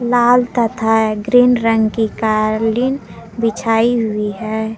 लाल तथा ग्रीन रंग की कालीन बिछाई हुई है।